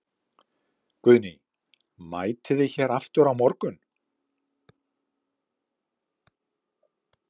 Guðný: Mætið þið hér aftur á morgun?